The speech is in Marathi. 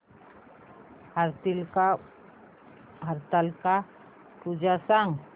हरतालिका पूजा सांग